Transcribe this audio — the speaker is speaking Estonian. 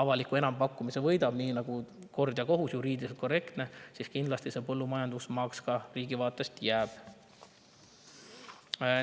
avaliku enampakkumise võidab nii nagu kord ja kohus, juriidiliselt korrektselt, see jääb riigi vaatest kindlasti põllumajandusmaaks.